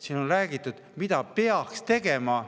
Siin on räägitud, mida peaks tegema.